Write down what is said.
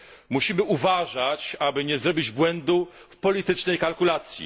Musimy uważać, aby nie popełnić błędu w politycznej kalkulacji.